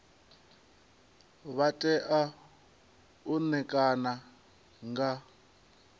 vha tea u ṋekana nga